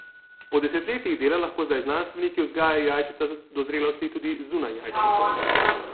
Po desetletjih dela lahko zdaj znanstveniki vzgajajo jajčeca do zrelosti tudi zunaj jajčnikov.